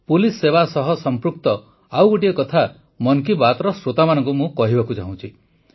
police ସେବା ସହ ସଂପୃକ୍ତ ଆଉ ଗୋଟିଏ କଥା ମନ କୀ ବାତ୍ର ଶ୍ରୋତାମାନଙ୍କୁ ମୁଁ କହିବାକୁ ଚାହୁଁଛି